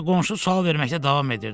Ancaq qonşu sual verməkdə davam edirdi.